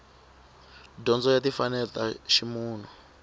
dyondzo ya timfanelo ta ximunhu